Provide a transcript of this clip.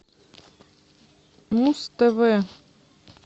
муз тв